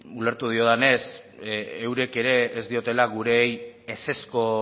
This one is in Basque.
ulertu diodanez eurek ere ez diotela gureei ezezko